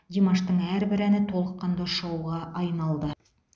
димаштың әрбір әні толыққанды шоуға айналды